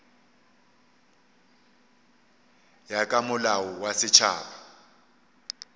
ya ka molao wa setšhaba